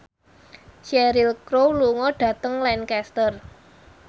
Cheryl Crow lunga dhateng Lancaster